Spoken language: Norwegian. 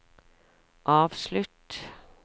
avslutt